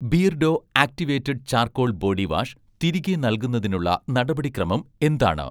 Beardo activated charcoal body wash' തിരികെ നൽകുന്നതിനുള്ള നടപടിക്രമം എന്താണ്?